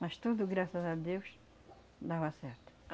Mas tudo, graças a Deus, dava certo.